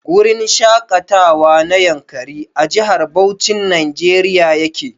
Gurin shaƙatawa na Yankari a Jihar Bauchin Nigeria yake.